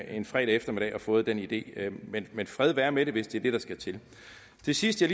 en fredag eftermiddag og fået den idé men men fred være med det hvis det er det der skal til det sidste